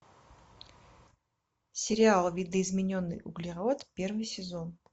сериал видоизмененный углерод первый сезон